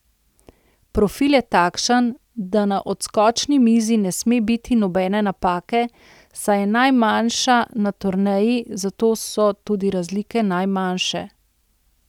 Profil je takšen, da na odskočni mizi ne sme biti nobene napake, saj je najmanjša na turneji, zato so tudi razlike najmanjše.